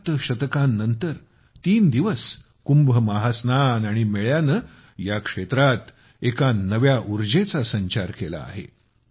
सात शतकांनंतर तीन दिवस कुंभ महास्नान आणि मेळ्यानं या क्षेत्रात एका नव्या उर्जेचा संचार केला आहे